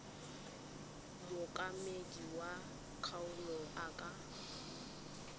mookamedi wa kgaolo a ka